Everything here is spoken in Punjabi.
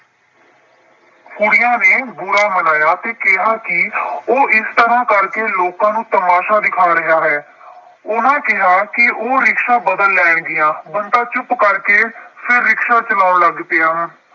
ਕੁੜੀਆਂ ਨੇ ਬੁਰਾ ਮਨਾਇਆ ਅਤੇ ਕਿਹਾ ਕਿ ਉਹ ਇਸ ਤਰ੍ਹਾਂ ਕਰਕੇ ਲੋਕਾਂ ਨੂੰ ਤਮਾਸ਼ਾ ਦਿਖਾਂ ਰਿਹਾ ਹੈ। ਉਹਨਾ ਕਿਹਾ ਕਿ ਉਹ ਰਿਕਸ਼ਾਂ ਬਦਲ ਲੈਣਗੀਆਂ, ਬੰਤਾ ਚੁੱਪ ਕਰਕੇ ਫਿਰ ਰਿਕਸ਼ਾ ਚਲਾਉਣ ਲੱਗ ਪਿਆ।